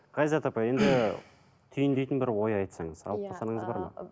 ғазизат апай түйіндейтін бір ой айтсаңыз алып қосарыңыз бар ма